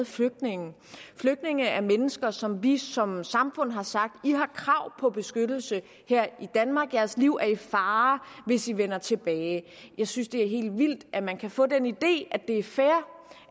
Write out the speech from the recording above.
flygtningene flygtninge er mennesker som vi som samfund har sagt har krav på beskyttelse her i danmark deres liv er i fare hvis de vender tilbage jeg synes det er helt vildt at man kan få den idé at det er fair